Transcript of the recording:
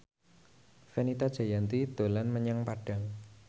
Fenita Jayanti dolan menyang Padang